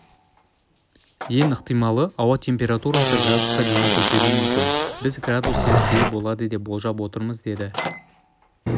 ең ықтималы ауа температурасы градусқа дейін көтерілуі мүмкін біз градус цельясия болады деп болжап отырмыз деді